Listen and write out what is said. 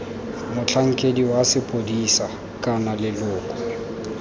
motlhankedi wa sepodisi kana leloko